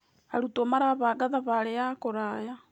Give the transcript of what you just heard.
Arutwo marabanga thabarĩ ya kũraya.